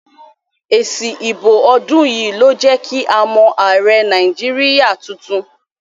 Èsì ìbò ọdún yìí ló jẹ́ kí a mọ̀ ààrẹ Nàìjíríà tuntun.